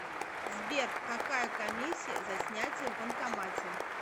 сбер какая комиссия за снятие в банкомате